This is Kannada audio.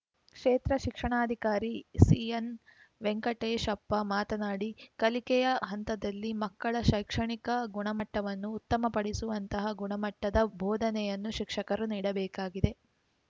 ಕ್ಷೇತ್ರ ಶಿಕ್ಷಣಾಧಿಕಾರಿ ಸಿಎನ್ ವೆಂಕಟೇಶಪ್ಪ ಮಾತನಾಡಿ ಕಲಿಕೆಯ ಹಂತದಲ್ಲಿ ಮಕ್ಕಳ ಶೈಕ್ಷಣಿಕ ಗುಣಮಟ್ಟವನ್ನು ಉತ್ತಮಪಡಿಸುವಂತಹ ಗುಣಮಟ್ಟದ ಬೋಧನೆಯನ್ನು ಶಿಕ್ಷಕರು ನೀಡಬೇಕಾಗಿದೆ